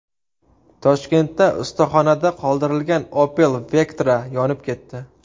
Toshkentda ustaxonada qoldirilgan Opel Vectra yonib ketdi .